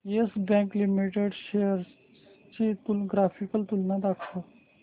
yes Bank Limited च्या shares ची graphical तुलना दाखव